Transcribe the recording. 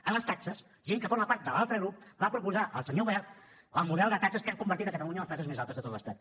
en les taxes gent que forma part de l’altre grup va proposar al senyor wert el model de taxes que han convertit catalunya en les taxes més altes de tot l’estat